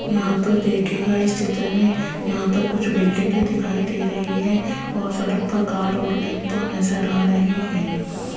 यहां पर देखिएगा इस चित्र में यहां पर कुछ बिल्डिंगे दिखाई दे रही है और सड़क पर कार और टेंपु नजर आ रही है।